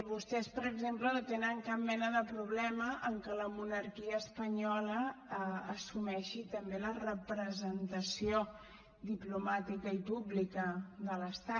vostès per exemple no tenen cap mena de problema amb que la monarquia espanyola assumeixi també la representació diplomàtica i pública de l’estat